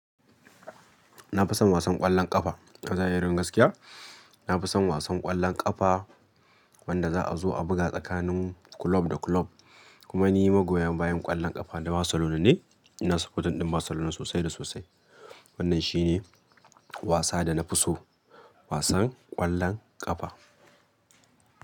Na fi son wasan ƙwallon ƙafa, Kaga irin gaskiya. Na fi son wasan ƙwallon ƙafa, wanda za a zo a buga tsakanin club da club. Kuma ni magoya bayan ƙwallon ƙafa na Barcelona ne. Ina supporting ɗin Barcelona sosai da sosai. Wannan shi ne wasa da na fi so, wasan ƙwallon ƙafa.